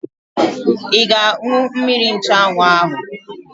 Ị ga-aṅụ mmiri nchụanwụ ahụ?